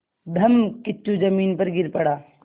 धम्मकिच्चू ज़मीन पर गिर पड़ा